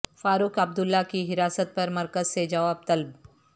فاروق عبداللہ کی حراست پر مرکز سے جواب طلب